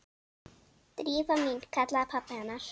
Drífa mín- kallaði pabbi hennar.